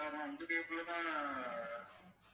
sir நான் இந்த cable ல தான்